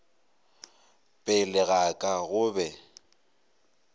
pele ga ka go be